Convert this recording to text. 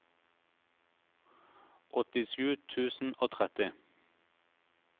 åttisju tusen og tretti